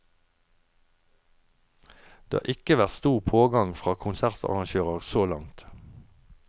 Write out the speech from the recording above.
Det har ikke vært stor pågang fra konsertarrangører så langt.